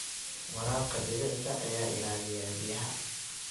Waraabka dhibicda ayaa ilaaliya biyaha.